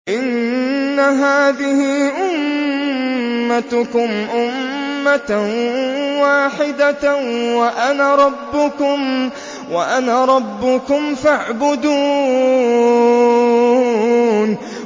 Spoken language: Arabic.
إِنَّ هَٰذِهِ أُمَّتُكُمْ أُمَّةً وَاحِدَةً وَأَنَا رَبُّكُمْ فَاعْبُدُونِ